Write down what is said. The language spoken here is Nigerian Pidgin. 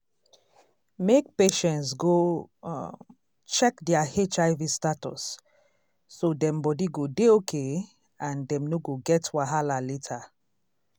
make patients go um check their hiv status so dem body go dey okay and dem no go get wahala later.